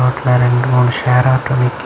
இதுல ரெண்டு மூணு ஷேர் ஆட்டோ நிக்கிது.